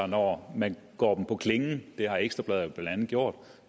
når man går dem på klingen det har ekstra bladet blandt andet gjort